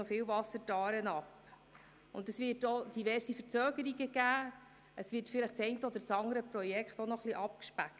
Es wird auch diverse Verzögerungen geben, und vielleicht wird das eine oder andere Projekt auch ein wenig abgespeckt.